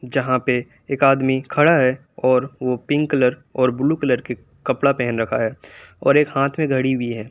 जहां पे एक आदमी खड़ा है और वो पिंक कलर और ब्लू कलर के कपड़ा पहन रखा है और एक हाथ में घड़ी भी है।